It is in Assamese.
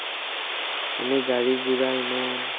এনে গাড়ী-গুৰা ইমান